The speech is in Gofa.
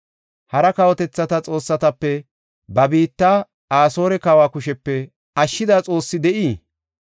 Hara kawotethata xoossatape ba biitta Asoore kawa kushepe ashshida xoossi de7ii?